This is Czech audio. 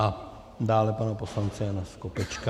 A dále pana poslance Jana Skopečka.